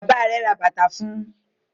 Bàbá rẹ̀ ra bàtà fún un.